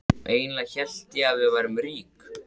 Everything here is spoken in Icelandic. Eiginlega hélt ég að við værum rík.